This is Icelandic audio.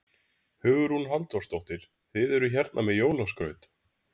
Hugrún Halldórsdóttir: Þið eruð hérna með jólaskraut?